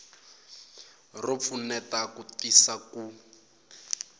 ro pfuneta ku tisa ku